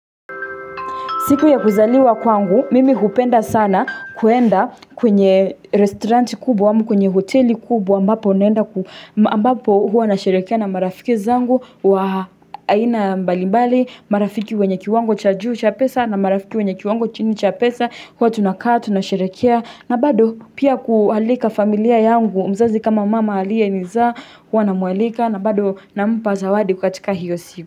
Siku ya kuzaliwa kwangu, mimi hupenda sana kwenda kwenye restauranti kubwa ama kwenye hoteli kubwa ambapo naenda ambapo huwa nasherekea na marafiki zangu wa aina mbalimbali marafiki wenye kiwango cha juu cha pesa na marafiki wenye kiwango chini cha pesa huwa tunakaa tunasherekea na bado pia kuwaalika familia yangu mzazi kama mama aliyenizaa huwa namwalika na bado nampa zawadi katika hiyo siku.